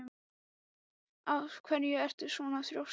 Af hverju ertu svona þrjóskur, Brandr?